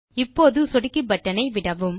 இப்போது சொடுக்கி பட்டன் ஐ விடவும்